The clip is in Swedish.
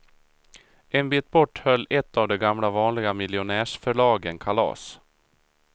En bit bort höll ett av de gamla vanliga miljonärsförlagen kalas.